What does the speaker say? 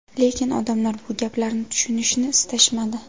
Lekin odamlar bu gaplarni tushunishni istashmadi.